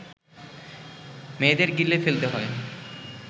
মেয়েদের গিলে ফেলতে হয়